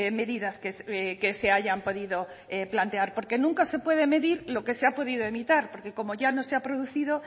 medidas que se hayan podido plantear porque nunca se puede medir lo que se ha podido evitar porque como ya no se ha producido